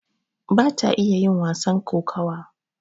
bata iya yin wasan kokawa